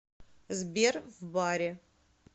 сбер в баре